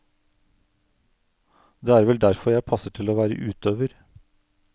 Det er vel derfor jeg passer til å være utøver.